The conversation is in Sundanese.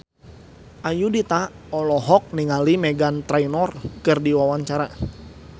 Ayudhita olohok ningali Meghan Trainor keur diwawancara